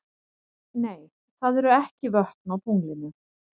Nei, það eru ekki vötn á tunglinu.